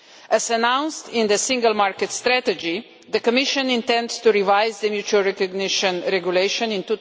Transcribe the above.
As announced in the Single Market Strategy, the Commission intends to revise the mutual recognition Regulation in